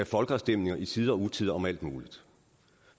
folkeafstemninger i tide og utide om alt muligt